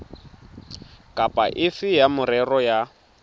kapa efe ya merero ya